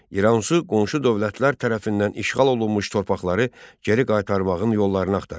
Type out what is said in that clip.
İranzu qonşu dövlətlər tərəfindən işğal olunmuş torpaqları geri qaytarmağın yollarını axtarırdı.